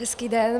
Hezký den.